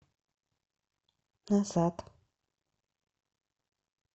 назад